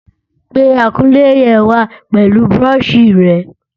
Pe akunlé yẹn wá pẹ̀lú búrọ́ṣì rẹ̀!